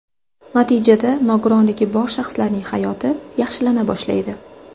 Natijada nogironligi bor shaxslarning hayoti yaxshilana boshlaydi.